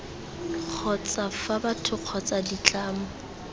kgotsa fa batho kgotsa ditlamo